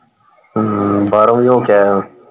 ਹਮ ਬਾਹਰੋਂ ਵੀ ਹੋ ਕੇ ਆਇਆ।